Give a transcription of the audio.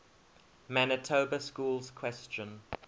manitoba schools question